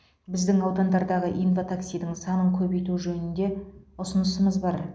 біздің аудандардағы инва таксидің санын көбейту жөнінде ұсынысымыз бар